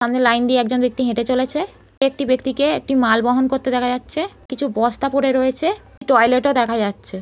সামনে লাইন দিয়ে একজন ব্যাক্তি হেঁটে চলেছে একটি ব্যাক্তিকে একটি মাল বহন করতে দেখা যাচ্ছে কিছু বস্তা পরে রয়েছে টয়লেট -ও দেখা যাচ্ছে।